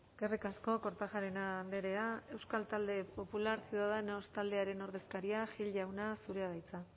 eskerrik asko kortajarena andrea euskal talde popular ciudadanos taldearen ordezkaria gil jauna zurea da hitza